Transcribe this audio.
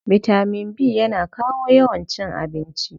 Bitaman B yana kawo yawan cin abinci.